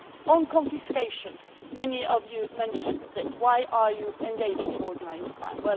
On confiscation and many of you mentioned this why are they engaged in organised crime?